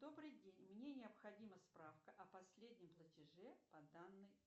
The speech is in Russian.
добрый день мне необходима справка о последнем платеже по данной